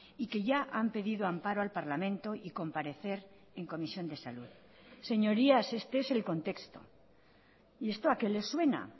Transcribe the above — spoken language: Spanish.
y que ya han pedido amparo al parlamento y comparecer en comisión de salud señorías este es el contexto y esto a qué le suena